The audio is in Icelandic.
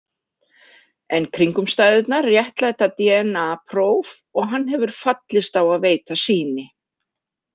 En kringumstæðurnar réttlæta dna- próf og hann hefur fallist á að veita sýni.